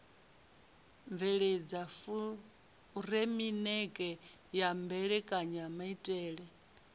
bveledza furemiweke ya mbekanyamaitele a